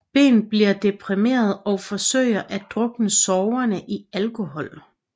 Ben bliver deprimeret og forsøger at drukne sorgerne i alkohol